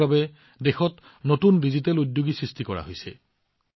ইয়াৰ বাবে দেশত নতুন ডিজিটেল উদ্যোগীৰ জন্ম হৈছে